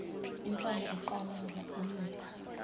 intamo eqalaza uyephi